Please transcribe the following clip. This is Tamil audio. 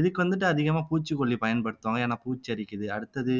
இதுக்கு வந்துட்டு அதிகமா பூச்சிக்கொல்லி பயன்படுத்துவாங்க ஏன்னா பூச்சி அரிக்குது அடுத்தது